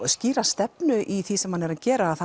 skýra stefnu í því sem hann er að gera að